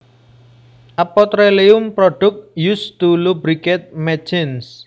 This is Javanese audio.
A petroleum product used to lubricate machines